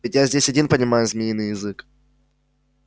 ведь я здесь один понимаю змеиный язык